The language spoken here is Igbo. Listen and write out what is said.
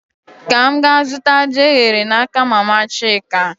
Ka m gaa zụta ji eghere n'aka mama Chika